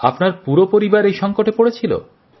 আপনার পুরো পরিবার এই সংকটে পড়েছিল